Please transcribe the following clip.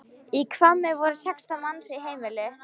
Í Hvammi voru sextán manns í heimili.